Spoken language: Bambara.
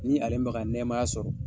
Ni ale nɛɛmaya sɔrɔ.